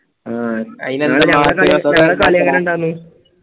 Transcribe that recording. അഹ്